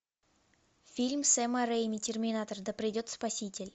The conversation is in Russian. фильм сэма рейми терминатор да придет спаситель